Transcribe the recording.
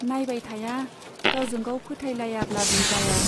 नाइबाय थाया , गावजोंगाव फोथायलायाब्लाबो जाया।